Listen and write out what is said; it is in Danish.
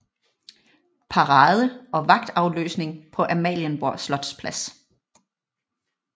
Parade og vagtafløsning på Amalienborg slotsplads